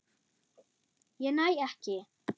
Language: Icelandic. Ég næ ekki.